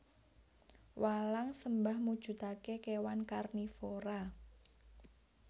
Walang sembah mujudake kewan karnivora